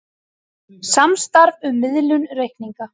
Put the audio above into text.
Samstarf um miðlun reikninga